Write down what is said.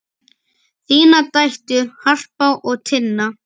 Þínar dætur, Harpa og Tinna.